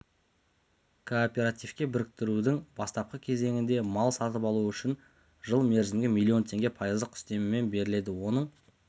кооперативке біріктірудің бастапқы кезеңінде мал сатып алу үшін жыл мерзімге миллион теңге пайыздық үстемемен беріледі оның